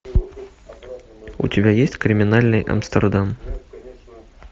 у тебя есть криминальный амстердам